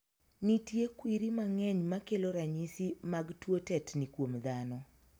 Nitie kwiri mang'eny makelo ranyisi mag tuo tetni kuom dhano.